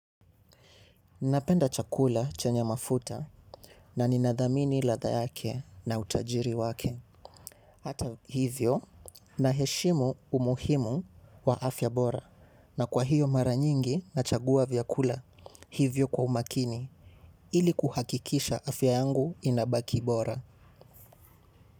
Napenda chakula chenye mafuta na ninathamini ladha yake na utajiri wake. Hata hivyo naheshimu umuhimu wa afya bora. Na kwa hiyo mara nyingi nachagua vyakula hivyo kwa umakini ili kuhakikisha afya yangu inabaki bora.